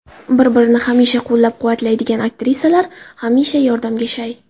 Bir-birini hamisha qo‘llab-quvvatlaydigan aktrisalar hamisha yordamga shay.